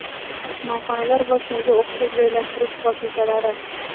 Mehmonxonalar va shunga o‘xshash joylashtirish vositalari.